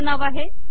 IITB